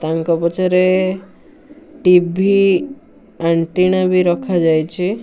ତାଙ୍କ ପଛରେ TV antenna ବି ଆଣିଛନ୍ତି ।